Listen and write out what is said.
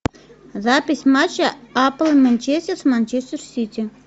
запись матча апл манчестер с манчестер сити